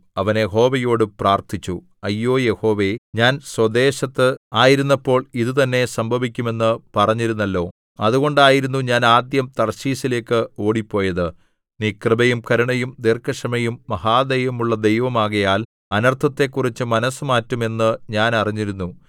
അവൻ യഹോവയോട് പ്രാർത്ഥിച്ചു അയ്യോ യഹോവേ ഞാൻ സ്വദേശത്ത് ആയിരുന്നപ്പോൾ ഇതു തന്നേ സംഭവിക്കുമെന്ന് പറഞ്ഞിരുന്നല്ലോ അതുകൊണ്ടായിരുന്നു ഞാൻ ആദ്യം തർശീശിലേക്ക് ഓടിപ്പോയത് നീ കൃപയും കരുണയും ദീർഘക്ഷമയും മഹാദയയുമുള്ള ദൈവമാകയാൽ അനർത്ഥത്തെക്കുറിച്ചു മനസ്സുമാറ്റും എന്നു ഞാൻ അറിഞ്ഞിരുന്നു